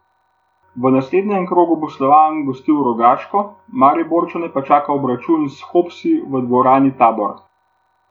V naslednjem krogu bo Slovan gostil Rogaško, Mariborčane pa čaka obračun s Hopsi v dvorani Tabor.